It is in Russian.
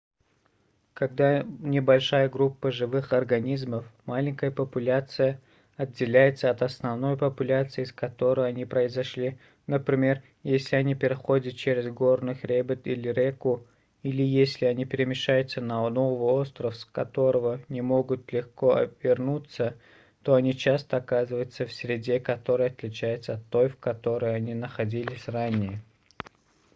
когда небольшая группа живых организмов маленькая популяция отделяется от основной популяции из которой они произошли например если они переходят через горный хребет или реку или если они перемещаются на новый остров с которого не могут легко вернуться то они часто оказываются в среде которая отличается от той в которой они находились ранее